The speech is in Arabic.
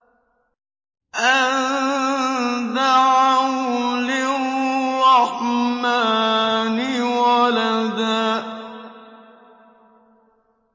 أَن دَعَوْا لِلرَّحْمَٰنِ وَلَدًا